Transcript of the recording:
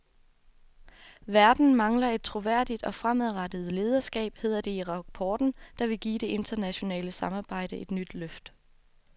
Verden mangler et troværdigt og fremadrettet lederskab, hedder det i rapporten, der vil give det internationale samarbejde et nyt løft.